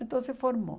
Então se formou.